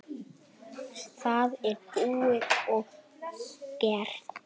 Það er búið og gert.